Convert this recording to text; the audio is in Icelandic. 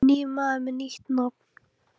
Ég er nýr maður með nýtt nafn.